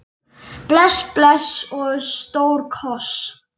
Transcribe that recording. Bless bless og stór koss.